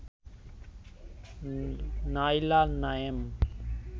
Naila Naim